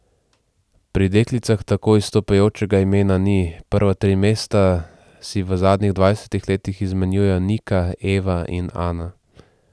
Pri deklicah tako izstopajočega imena ni, prva tri mesta si v zadnjih dvajsetih letih izmenjujejo Nika, Eva in Ana.